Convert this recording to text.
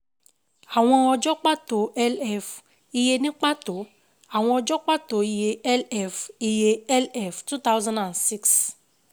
Àwọn ọjọ́ pàtó LF Iye Ní pàtó Àwọn ọjọ́ pàtó Iye LF Iye LF 2006